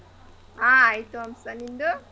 ಹಾ ಆಯ್ತು ಹಂಸ ನಿಂದು?